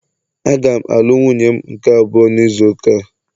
Aga m alụ nwunye m nke abụọ n'izu ụka a